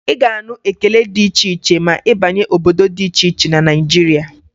Ị ga-anụ ekele dị iche iche ma ị banye obodo dị iche iche na Naịjirịa.